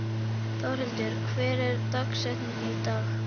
Þórhildur, hver er dagsetningin í dag?